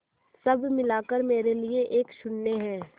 सब मिलाकर मेरे लिए एक शून्य है